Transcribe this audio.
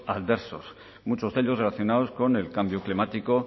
adversos muchos de ellos relacionados con el cambio climático